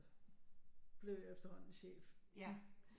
Blev jeg efterhånden chef